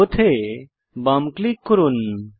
both এ বাম click করুন